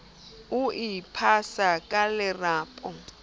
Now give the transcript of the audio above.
be o iphasa ka lerapo